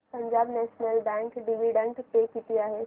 Punjab National Bank dividend pay किती आहे